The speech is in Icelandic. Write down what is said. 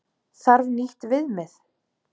Þarf nýtt viðmið?